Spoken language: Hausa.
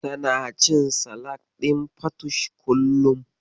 Tana cin salak ɗin fatush kullum.